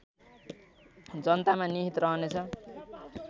जनतामा निहित रहने छ